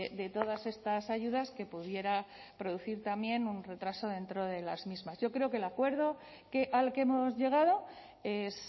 de todas estas ayudas que pudiera producir también un retraso dentro de las mismas yo creo que el acuerdo que al que hemos llegado es